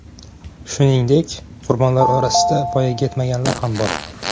Shuningdek, qurbonlar orasida voyaga yetmaganlar ham bor.